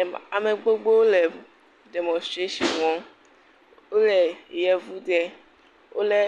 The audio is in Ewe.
Em…a… Ame gbogbowo le demonstration wɔm, wole yevu de wolé